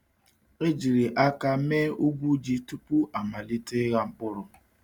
E jiri aka mee ugwu ji tupu amalite ịgha mkpụrụ.